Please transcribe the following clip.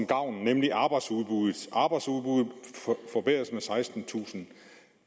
gavn nemlig arbejdsudbuddet arbejdsudbuddet forbedres med sekstentusind